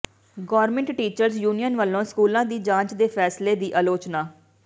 government teachers union ਵੱਲੋਂ ਸਕੂਲਾਂ ਦੀ ਜਾਂਚ ਦੇ ਫ਼ੈਸਲੇ ਦੀ ਆਲੋਚਨਾ